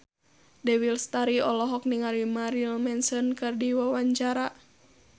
Dewi Lestari olohok ningali Marilyn Manson keur diwawancara